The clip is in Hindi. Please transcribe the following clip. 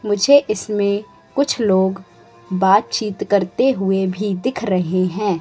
मुझे इसमें कुछ लोग बातचीत करते हुए भी दिख रहे हैं।